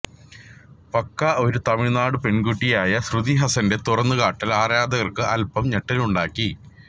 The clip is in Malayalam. പക്ക ഒരു തമിഴ് നാട് പെണ്കുട്ടിയായ ശ്രുതി ഹസന്റെ തുറന്നു കാട്ടല് ആരാധകര്ക്ക് അല്പം ഞെട്ടലുണ്ടാക്കി